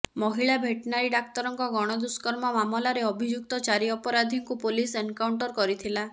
ମହିଳା ଭେଟେନାରୀ ଡାକ୍ତରଙ୍କ ଗଣଦୁଷ୍କର୍ମ ମାମଲାରେ ଅଭିଯୁକ୍ତ ଚାରି ଅପରାଧୀଙ୍କୁ ପୋଲିସ୍ ଏନକାଉଣ୍ଟର କରିଥିଲା